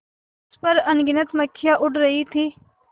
उस पर अनगिनत मक्खियाँ उड़ रही थीं